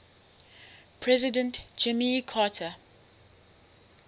president jimmy carter